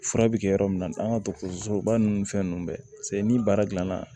Fura bɛ kɛ yɔrɔ min na an ka dɔgɔtɔrɔsoba ninnu fɛn ninnu bɛ ni baara dilanna